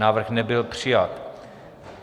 Návrh nebyl přijat.